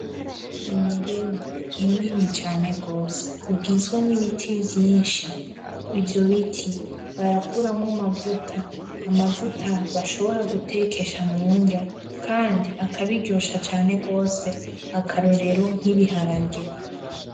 Umurima munini cane gose ugizwe n'ibiti vyinshi, ivyo biti barakuramwo amavuta amavuta bashobora gutekesha mu nrya kandi akabiryosha cane gose, akarorero nk'ibiharage.